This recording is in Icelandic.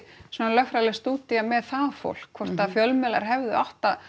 svona lögfræðileg stúdía með það fólk hvort að fjölmiðlar hefðu átt að